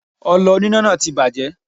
Ọlọ oníná náà ti bàjẹ́.